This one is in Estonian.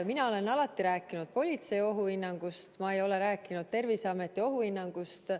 Mina olen alati rääkinud politsei ohuhinnangust, ma ei ole rääkinud Terviseameti ohuhinnangust.